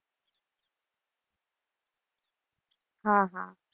હા હા.